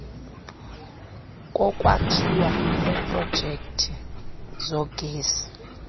kokwakhiwa kweprojekthi zogesi